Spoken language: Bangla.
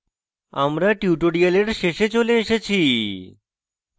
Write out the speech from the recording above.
আমরা tutorial শেষে চলে এসেছি